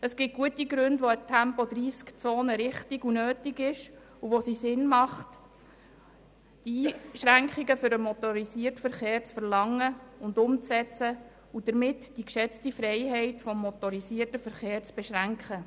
Es gibt Situationen, in denen eine Tempo-30-Zone richtig und nötig ist, und in denen es Sinn macht, Einschränkungen für den motorisierten Verkehr zu verlangen, umzusetzen und damit die geschätzte Freiheit des motorisierten Verkehrs zu beschränken.